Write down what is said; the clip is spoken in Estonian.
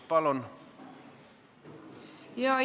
Palun!